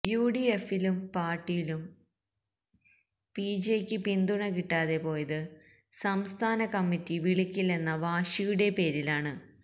U D എഫിലും പാര്ട്ടിയിലും P Jaick പിന്തുണ കിട്ടാതെ പോയത് സംസ്ഥാന കമ്മിറ്റി വിളിക്കില്ലെന്ന വാശിയുടെ പേരിലാണ്